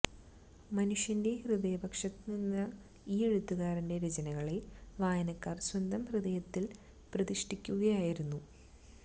മനുഷ്യന്െറ ഹൃദയപക്ഷത്തുനിന്ന ഈ എഴുകാരന്െറ രചനകളെ വായനക്കാര് സ്വന്തം ഹൃദയത്തില് പ്രതിഷ്ഠിക്കുകയായിരുന്നു